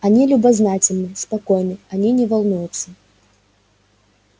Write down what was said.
они любознательны спокойны они не волнуются